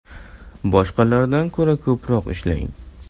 Boshqalardan ko‘ra ko‘proq ishlang.